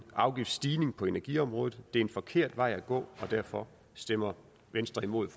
afgiftsstigning på energiområdet det er en forkert vej at gå og derfor stemmer venstre imod